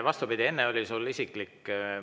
Vastupidi, enne oli sul isiklik.